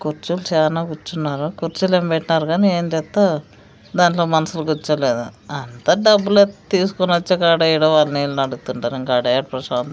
కూర్చుం సానా కూర్చున్నారు కుర్చీలు ఏం పెట్టినారు కానీ దాంట్లో మనుషులు కూర్చోలేదు అంతా డబ్బులు తీసుకొని వచ్చే కాడే ఈడ వాళ్లు వీళ్లు నడుస్తుంటారు ఆడాయాడా ప్రశాంతం.